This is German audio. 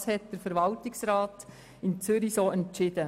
Dies hat der Verwaltungsrat in Zürich so entschieden.